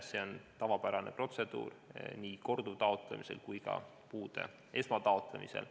See on tavapärane protseduur nii puude korduv- kui ka esmataotlemisel.